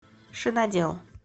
шинодел